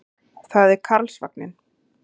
Það er Karlsvagninn.